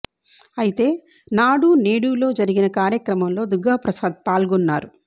అయితే నాడు నేడు లో జరిగిన కార్యక్రమంలో దుర్గ ప్రసాద్ పాల్గొన్నారు